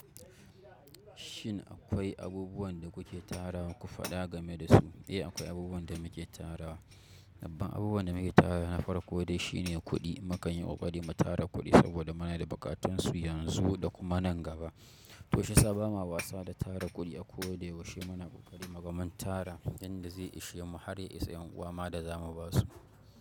Shin akwai abubuwan da kuke tara wa ku faɗa game da su? Eh, akwai abubuwan da muke tara wa. Babban abubuwan da muke tarawa na farko dai shine kuɗi. Mu kanyi ƙoƙari mu tara kuɗi saboda muna da buƙatun su yanzu da kuma nan gaba. To shi sa ba ma wasa da tara kuɗi a ko da yaushe muna ƙoƙari muga mun tara yanda zai ishe mu har ya isa ƴan'uwa ma da za mu ba su.